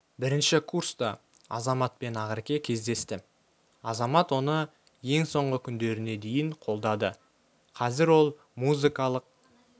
бірінші курста азамат пен ақерке кездесті азамат оны ең соңғы күндеріне дейін қолдады қазір ол музыкалық